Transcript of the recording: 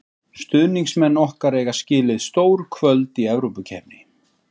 Stuðningsmenn okkar eiga skilið stór kvöld í Evrópukeppni.